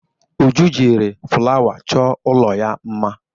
Uju jiri fụlawa chọọ ụlọ ya mma.